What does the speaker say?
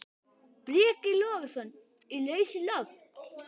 Breki Logason: Í lausu loft?